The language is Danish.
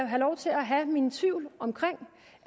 have lov til at have mine tvivl om